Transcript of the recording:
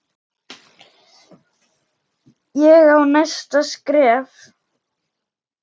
Ég á næsta skref.